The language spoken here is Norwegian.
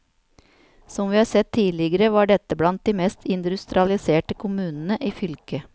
Som vi har sett tidligere, var dette blant de mest industrialiserte kommunene i fylket.